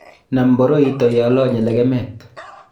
nam boroito ye alanye lekemet